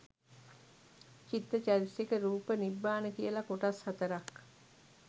චිත්ත චෛතසික රූප නිබ්බාන කියල කොටස් හතරක්